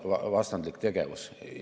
Vastandlik tegevus.